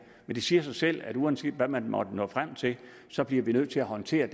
men det siger sig selv at uanset hvad man måtte nå frem til så bliver vi nødt til at håndtere